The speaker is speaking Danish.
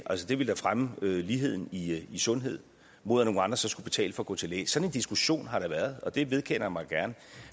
ville da fremme ligheden i sundhed mod at nogle andre så skulle betale for gå til læge sådan en diskussion har der været og det vedkender jeg mig gerne